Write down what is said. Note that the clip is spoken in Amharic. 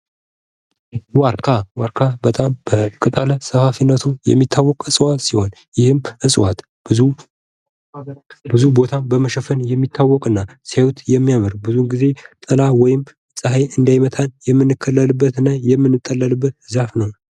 ዋርካ፦ ዋርካ በጣም በቅጠለ ሰፋፊነቱ የሚታወቅ እጽዋት ሲሆን ይህም እጽዋት ብዙ ቦታ በመሸፈን የሚታወቅና ሲያዩት የሚያምር ብዙ ጊዜ ጥላ ወይም ፀሐይ እንዳይመታን የምንከለልበት እና የምንጠለልበት ዛፍ ነው።